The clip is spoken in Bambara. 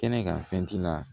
Kɛnɛ kan fɛn ti la